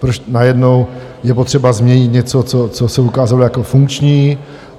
Proč najednou je potřeba změnit něco, co se ukázalo jako funkční?